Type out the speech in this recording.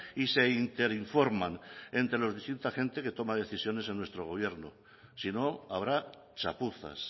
y se interinforman entre la distinta gente que toma decisiones en nuestro gobierno si no habrá chapuzas